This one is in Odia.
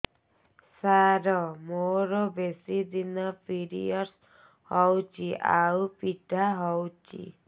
ସାର ମୋର ବେଶୀ ଦିନ ପିରୀଅଡ଼ସ ହଉଚି ଆଉ ପୀଡା ହଉଚି